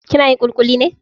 Kina yin ƙuliƙuli ne?